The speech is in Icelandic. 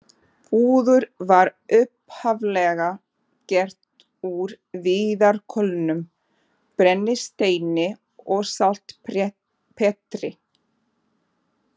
Púður var upphaflega gert úr viðarkolum, brennisteini og saltpétri.